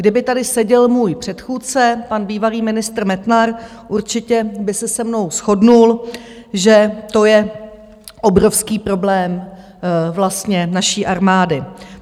Kdyby tady seděl můj předchůdce, pan bývalý ministr Metnar, určitě by se se mnou shodl, že to je obrovský problém vlastně naší armády.